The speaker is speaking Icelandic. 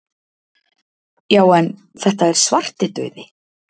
Já en. þetta er Svartidauði!